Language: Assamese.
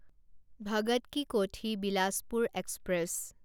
ভগত কি কোঠি বিলাচপুৰ এক্সপ্ৰেছ